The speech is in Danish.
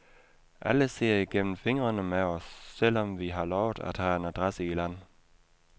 Alle ser igennem fingrene med os, selv om vi har lovet at have en adresse i land.